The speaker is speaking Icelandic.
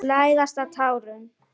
Læðast á tánum.